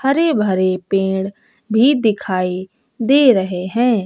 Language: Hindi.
हरे भरे पेड़ भी दिखाई दे रहे हैं।